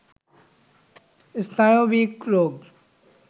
স্নায়বিক রোগ